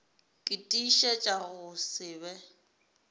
ke tiišetša go se be